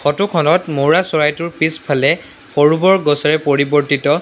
Photo খনত মৌৰা চৰাইটোৰ পিছফালে সৰু-বৰ গছেৰে পৰিবৰ্তিত।